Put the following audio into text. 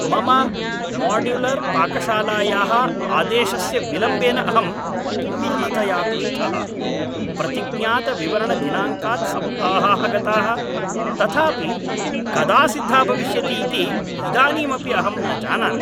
मम माड्युलर्पाकशालायाः आदेशस्य विलम्बेन अहं पूर्णतया क्रुद्धः, प्रतिज्ञातवितरणदिनाङ्कात् सप्ताहाः गताः, तथापि कदा सिद्धा भविष्यति इति इदानीमपि अहं न जानामि।